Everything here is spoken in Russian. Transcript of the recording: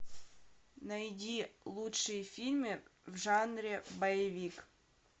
найди лучшие фильмы в жанре боевик